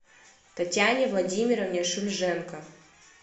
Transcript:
татьяне владимировне шульженко